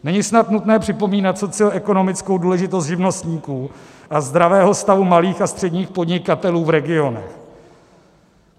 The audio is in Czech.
Není snad nutné připomínat socioekonomickou důležitost živnostníků a zdravého stavu malých a středních podnikatelů v regionu.